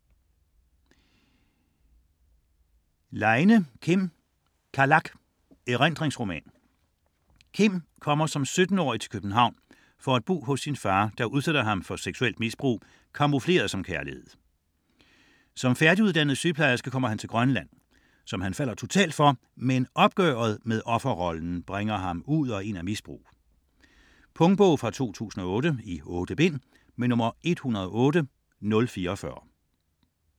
Leine, Kim: Kalak: erindringsroman Kim kommer som 17-årig til København for at bo hos sin far, der udsætter ham for seksuelt misbrug camoufleret som kærlighed. Som færdiguddannet sygeplejerske kommer han til Grønland, som han falder totalt for, men opgøret med offerrollen bringer ham ud og ind af misbrug. Punktbog 108044 2008. 8 bind.